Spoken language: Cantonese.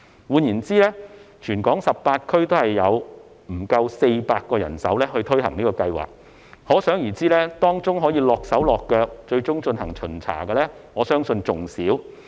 換言之，全港18區只有不足400個人手推行計劃，可想而知，當中可"落手落腳"，最終進行巡查的人手，我相信會更少。